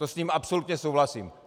To s ním absolutně souhlasím.